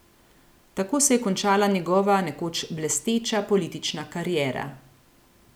Tako se je končala njegova nekoč blesteča politična kariera.